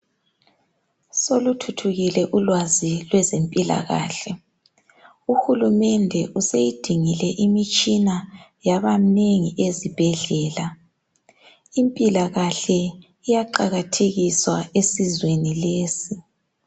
Soluthuthukile ulwazi lwezempilakahle. Uhulumende useyidingile imitshina yaba minengi ezibhedlela. Impilakahle iyaqakathekiswa esizweni lesi.